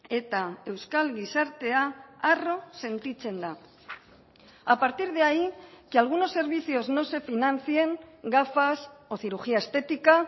eta euskal gizartea harro sentitzen da a partir de ahí que algunos servicios no se financien gafas o cirugía estética